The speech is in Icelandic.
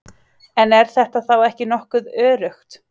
En er þetta þá ekki nokkuð öruggt?